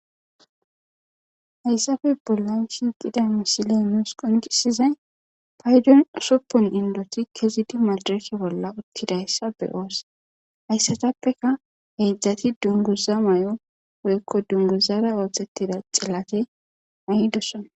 hayssafe bollan shiiqida misiley qonqisizay paydon usoppon indoti kezidi madreke bolla uttidayssa be oosse hayssatappeka heydzdzati dunguza may7o woykko dunguzara ooththettida celake ai dosson